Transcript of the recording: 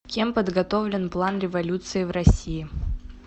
кем подготовлен план революции в россии